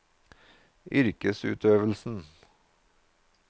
yrkesutøvelsen